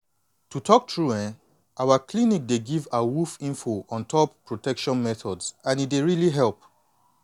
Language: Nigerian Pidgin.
no be lie na one local outreach program wey help me understand protection methods the more